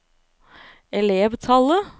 elevtallet